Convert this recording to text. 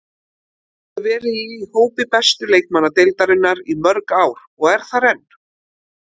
Hefur verið í hópi bestu leikmanna deildarinnar í mörg ár og er þar enn.